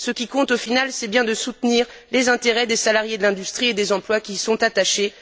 Ce qui compte, au final, c'est bien de soutenir les intérêts des salariés de l'industrie et les emplois qui y sont attachés.